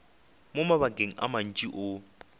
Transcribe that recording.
mo mabakeng a mantši o